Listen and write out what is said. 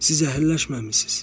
Siz əhəlləşməmisiniz.